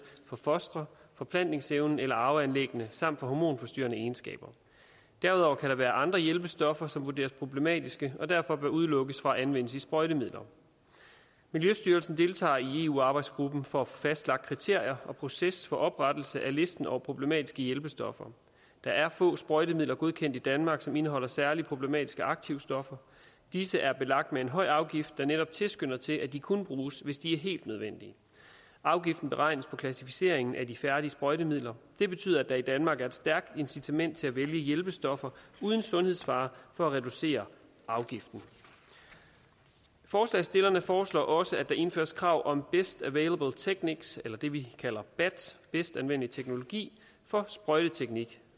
på fostre forplantningsevnen eller arveanlæggene samt hormonforstyrrende egenskaber derudover kan der være andre hjælpestoffer som vurderes problematiske og derfor bør udelukkes fra at anvendes i sprøjtemidler miljøstyrelsen deltager i eu arbejdsgruppen for at få fastlagt kriterier og proces for oprettelse af listen over problematiske hjælpestoffer der er få sprøjtemidler godkendt i danmark som indeholder særligt problematiske aktivstoffer disse er belagt med en høj afgift der netop tilskynder til at de kun bruges hvis de er helt nødvendige afgiften beregnes på klassificeringen af de færdige sprøjtemidler det betyder at der i danmark er et stærkt incitament til at vælge hjælpestoffer uden sundhedsfare for at reducere afgiften forslagsstillerne foreslår også at der indføres krav om best available techniques eller det vi kalder bat bedst anvendelige teknologi for sprøjteteknik